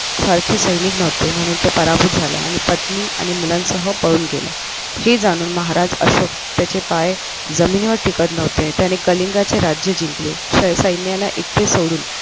सारखे सैनिक नव्हते म्हणून तो पराभूत झाला आणि पत्नी आणि मुलांसह पळून गेला हे जाणून महाराज अशोक त्याचे पाय जमिनीवर टिकत नव्हते त्याने कलिंगचे राज्य जिंकले सैन्याला एकटे सोडून